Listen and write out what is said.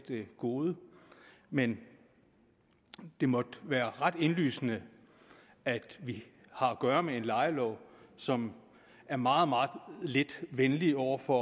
gode men det måtte være ret indlysende at vi har at gøre med en lejelov som er meget meget lidt venlig over for